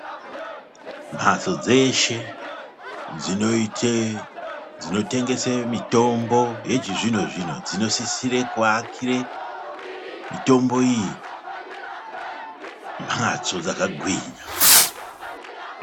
Mhatso dzeshe dzinoite dzinotengese mitombo yechizvino-zvino dzinosisire kuakire mitombo iyi mhatso dzakagwinya.